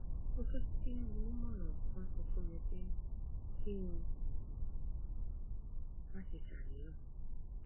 mo fẹ kí onímọràn kan sọ fún mi pé kí n má ṣe ṣàníyàn